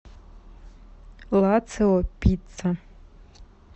лацио пицца